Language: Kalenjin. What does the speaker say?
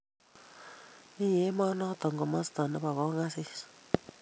Mi emonoto komosta nepo kongasis